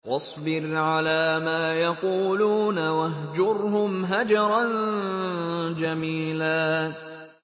وَاصْبِرْ عَلَىٰ مَا يَقُولُونَ وَاهْجُرْهُمْ هَجْرًا جَمِيلًا